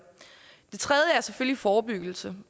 det tredje er selvfølgelig forebyggelse